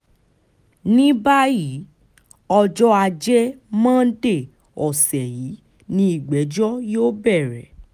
ní báyìí ọjọ́ ajé monde ọ̀sẹ̀ yìí ni ìgbẹ́jọ́ yóò bẹ̀rẹ̀